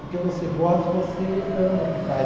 Porque você gosta e você ama o que faz.